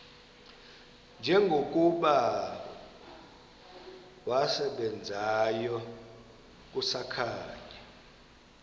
njengokuba wasebenzayo kusakhanya